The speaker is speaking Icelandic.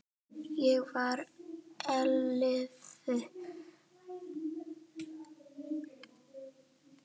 Ég var ellefu ára.